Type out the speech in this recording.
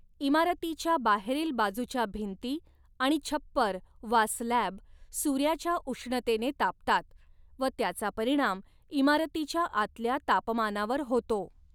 इमारतीच्या बाहेरील बाजूच्या भिंती आणि छप्पर वा स्लॅब सूर्याच्या उष्णतेने तापतात व त्याचा परिणाम इमारतीच्या आतल्या तापमानावर होतो.